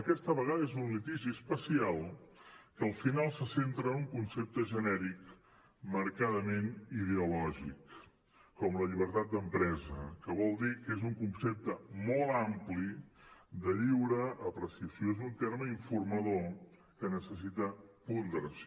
aquesta vegada és un litigi especial que al final se centra en un concepte genèric marcadament ideològic com la llibertat d’empresa que vol dir que és un concepte molt ampli de lliure apreciació és un terme informador que necessita ponderació